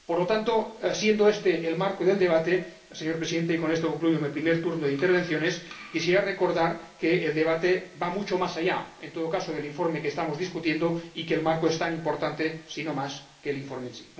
Por lo tanto, siendo este el marco del debate, señor Presidente y con esto concluyo mi primer turno de intervenciones quisiera recordar que el debate va mucho más allá, en todo caso, del informe que estamos debatiendo y que el marco es tan importante, si no más, que el informe en sí.